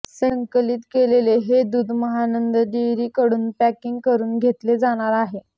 संकलित केलेले हे दूध महानंद डेअरीकडून पॅकिंग करून घेतले जाणार आहे